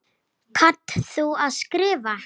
Kannt þú að skrifa?